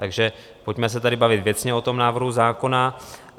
Takže pojďme se tady bavit věcně o tom návrhu zákona.